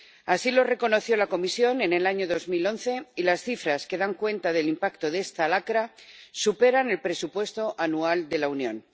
Así lo reconoció la Comisión en el año 2011, y las cifras que dan cuenta del impacto de esta lacra superan el presupuesto anual de la Unión.